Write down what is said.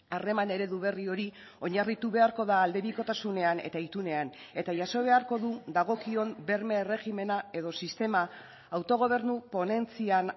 harreman eredu berri hori oinarritu beharko da aldebikotasunean eta itunean eta jaso beharko du dagokion berme erregimena edo sistema autogobernu ponentzian